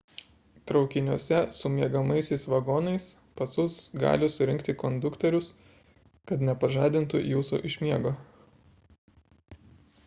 traukiniuose su miegamaisiais vagonais pasus gali surinkti konduktorius kad nepažadintų jūsų iš miego